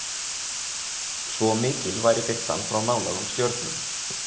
Svo mikil væri birtan frá nálægum stjörnum!